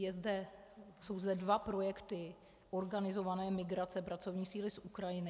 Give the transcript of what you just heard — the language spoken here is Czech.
Jsou zde dva projekty organizované migrace pracovní síly z Ukrajiny.